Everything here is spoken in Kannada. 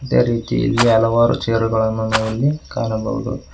ಅದೇ ರೀತಿ ಇಲ್ಲಿ ಹಲವಾರು ಚೇರುಗಳನ್ನು ನಾವಿಲ್ಲಿ ಕಾಣಬಹುದು.